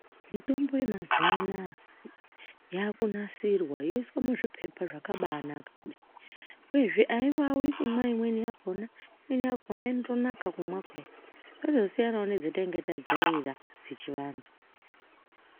Mitombo yemazuwa anaa yaakunasirwa, yoiswa muzviphepha zvakabaanaka kudai, uyezve aiwawi kumwa imweni yakhona. Imweni yakhona inotonaka kumwa kudai. Zvozosiyanawo nedzatanga tajaira dzechivantu.